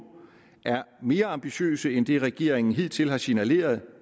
er mere ambitiøse end det regeringen hidtil har signaleret